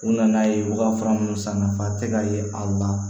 U nana ye u ka fura minnu san nafa tɛ ka ye aw ma